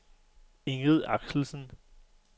Ingrid Axelsen